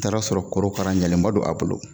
N taara sɔrɔ korokara ɲɛlenba don a bolo